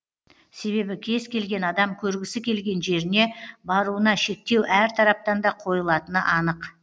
себебі кез келген адам көргісі келген жеріне баруына шектеу әр тараптан да қойылатыны анық